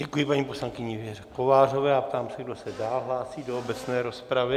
Děkuji paní poslankyni Věře Kovářové a ptám se, kdo se dál hlásí do obecné rozpravy.